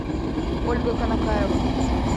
ольга канакаева